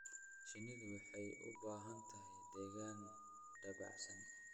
Shinnidu waxay u baahan tahay deegaan dabacsan.